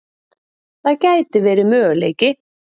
Það gæti verið möguleiki.